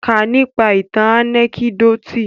Kà nípa ìtàn ànẹ́kídòtì!